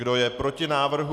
Kdo je proti návrhu?